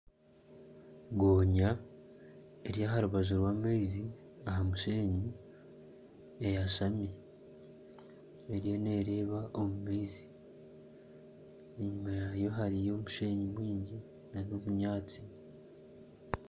Gonya eri aha rubaju rw'amaizi aha musheenyi eyashami eriyo neereeba omu maizi kandi enyima yaayo hariyo omusheenyi mwingi nana obunyaatsi